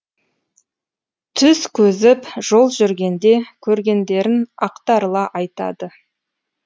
түз көзіп жол жүргенде көргендерін ақтарыла айтады